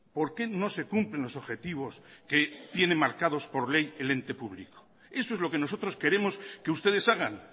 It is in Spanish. por qué no se cumplen los objetivos que tienen marcados por ley el ente público eso es lo que nosotros queremos que ustedes hagan